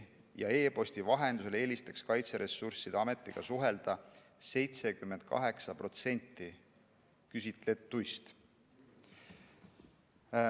E-posti vahendusel eelistaks Kaitseressursside Ametiga suhelda 78% küsitletuist.